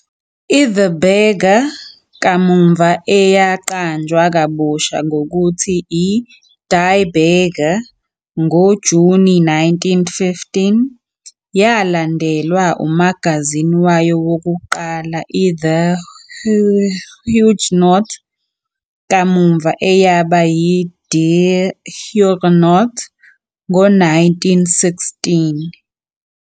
i-"De Burger", kamuva eyaqanjwa kabusha ngokuthi i-"Die Burger", ngoJuni 1915, yalandelwa umagazini wayo wokuqala, i- "De Huisgenoot", kamuva "eyaba yi-Die Huisgenoot", ngo-1916.